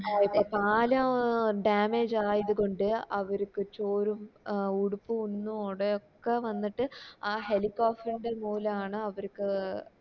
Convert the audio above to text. ഏർ പാലം damage ആയത് കൊണ്ട് അവർക്ക് ചോറും ഉടുപ്പും ഒന്നും ഓടെ ഒക്കെ വന്നിട്ട് ആ ഹെലിക്കോഫ്‌ ൻറെ മൂലാണ് അവർക്ക്